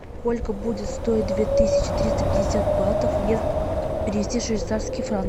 сколько будет стоить две тысячи триста пятьдесят батов если перевести в швейцарские франки